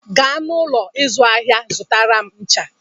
Gaa n'ụlọ ahịa ịzụ ahịa zụtara m ncha!